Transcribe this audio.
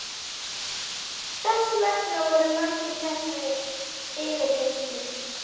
Þess vegna voru margir teknir í yfirheyrslu.